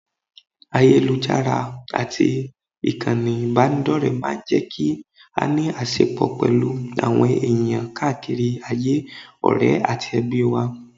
Ayélujára àti ìkànnì ìbánidọ́rẹ̀ẹ́ máa ń jẹ́ kí a ní àṣẹpọ̀ pẹ̀lú àwọn èèyàn káàkiri ayé, ọ̀rẹ́ àti ẹbí wa